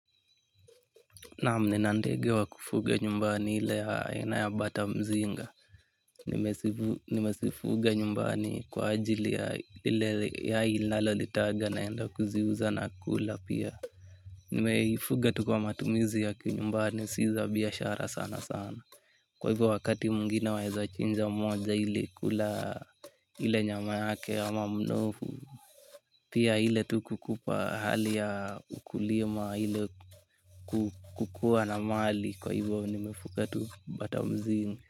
Naam, ninandege wa kufuga nyumbani ile ya aina ya batamzinga. Nimezifuga nyumbani kwa ajili ya ile yai linalo litaga naenda kuziuza na kula pia. Nimeifuga tu kwa matumizi ya kinyumbani si za biashara sana sana. Kwa hivyo wakati mwingine waezachinja mmoja ili kula ile nyama yake ama mnofu. Pia ile tu kukupa hali ya ukulima ile kukua na mali kwa hivo nimefuka tu bata mzinga.